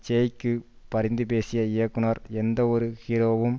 ஜெய்க்கு பரிந்து பேசிய இயக்குனர் எந்த ஒரு ஹீரோவும்